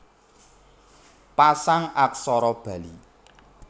Pasang Aksara Bali